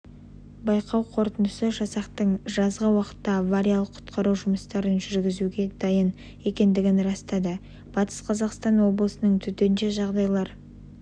байқау қорытындысы жасақтың жазғы уақытта авариялық-құтқару жұмыстарын жүргізуге дайын екендігін растады батыс қазақстан обысының төтенше жағдайлар